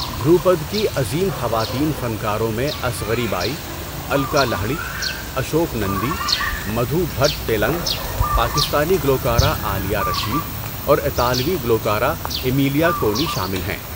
دھروپاد کی عظیم خواتین فنکاروں میں اصغری بائی، الکا لہڑی، اشوک نندی، مدھو بھٹ ٹیلنگ، پاکستانی گلوکارہ عالیہ رشید، اور اطالوی گلوکارہ امیلیا کونی شامل ہیں۔